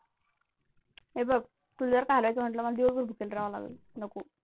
हे बघ तुल जर का हरायचं म्हंटलं मला दिवस भर भुकेले रहाव लागेल.